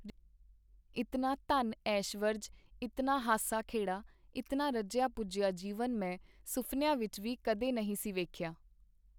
ਇਤਨਾ ਧਨ-ਐਸ਼ਵਰਜ, ਇਤਨਾ ਹਾਸਾ-ਖੇੜਾ, ਇਤਨਾ ਰੱਜਿਆ-ਪੁੱਜਿਆ ਜੀਵਨ ਮੈਂ ਸੁਫਨਿਆਂ ਵਿਚ ਵੀ ਕਦੇ ਨਹੀਂ ਸੀ ਵੇਖਿਆ.